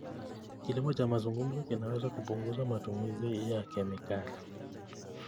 Kilimo cha mzunguko kinaweza kupunguza matumizi ya kemikali.